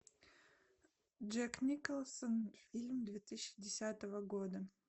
джек николсон фильм две тысячи десятого года